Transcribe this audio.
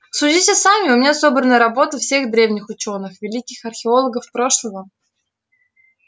судите сами у меня собраны работы всех древних учёных великих археологов прошлого